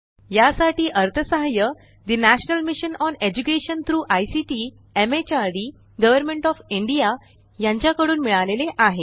यासाठी अर्थसहाय्य ठे national mission on education through ICT MHRD government of India यांच्या कडून मिळालेले आहे